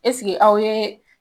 Eseke aw ye